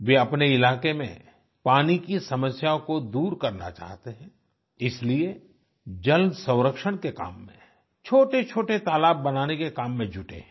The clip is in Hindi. वे अपने इलाके में पानी की समस्या को दूर करना चाहते हैं इसलिए जलसंरक्षण के काम में छोटेछोटे तालाब बनाने के काम में जुटे हैं